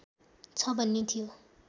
छ भन्ने थियो